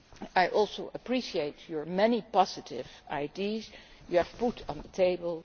I also appreciate the many positive ideas you have put on the table.